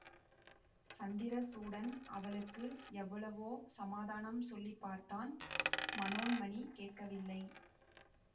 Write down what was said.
சந்திரசூடன் அவளுக்கு எவ்வளவோ சமாதானம் சொல்லி பார்த்தான் மனோன்மணி கேட்கவில்லை